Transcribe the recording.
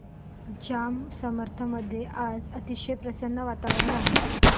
जांब समर्थ मध्ये आज अतिशय प्रसन्न वातावरण आहे